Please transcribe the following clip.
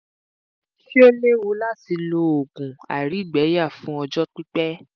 ṣé ó léwu láti lo oògùn àìrígbẹyà fún ọjọ́ pipẹ́?